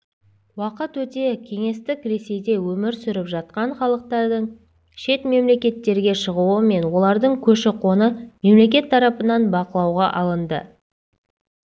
уақыт өте кеңестік ресейде өмір сүріп жатқан халықтардың шет мемлекеттерге шығуы мен олардың көші-қоны мемлекет тарапынан бақылауға алынды